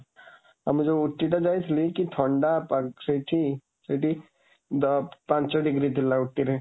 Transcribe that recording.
ଆମେ ଯୋଉ ଉଟ୍ଟି ଟା ଯାଇଥିଲି , କି ଥଣ୍ଡା ସେଇଠି, ସେଇଠି ପାଞ୍ଚ ଡିଗ୍ରୀ ଥିଲା ଉଟ୍ଟିରେ।